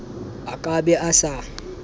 a ka be a sa